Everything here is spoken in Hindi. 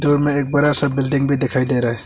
में एक बड़ा सा बिल्डिंग भी दिखाई दे रहा है।